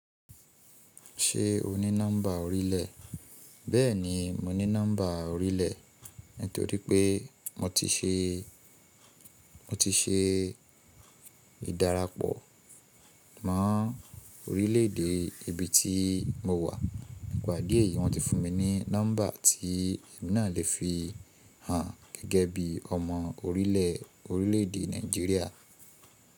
Ṣé o ní nọ́mbà orílẹ̀? Bẹ́ẹ̀ni, mo ní nọ́mbà orílẹ̀ nítorí pé mo ti ṣe, mo ti ṣe ìdárapọ̀ mọ́ orílẹ̀ èdè ibi tí mo wà nípa ìdí èyí wọ́n ti fún mi ní nọ́mbà tí èmi náà lè fi hàn gẹ́gẹ́ bí ọmọ orílẹ̀—orílẹ̀ èdè Nàìjíríà.